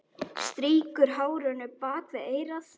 Strýkur hárinu bak við eyrað.